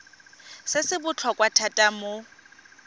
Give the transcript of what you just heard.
se se botlhokwa thata mo